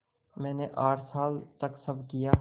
मैंने आठ साल तक सब किया